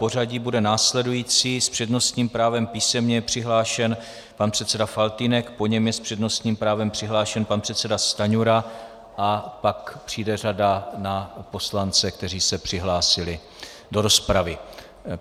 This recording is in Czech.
Pořadí bude následující: s přednostním právem písemně je přihlášen pan předseda Faltýnek, po něm je s přednostním právem přihlášen pan předseda Stanjura a pak přijde řada na poslance, kteří se přihlásili do rozpravy.